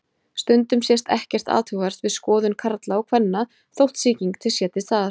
Stundum sést ekkert athugavert við skoðun karla og kvenna þótt sýking sé til staðar.